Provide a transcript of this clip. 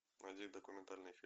найди документальный фильм